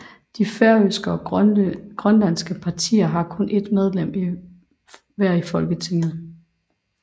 De færøske og grønlandske partier har kun et medlem hver i Folketinget